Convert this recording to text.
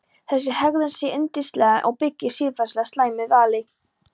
Þessi hegðun sé syndsamleg og byggi á siðferðilega slæmu vali.